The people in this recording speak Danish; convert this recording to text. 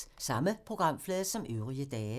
Samme programflade som øvrige dage